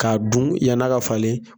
K'a don yani a ka falen.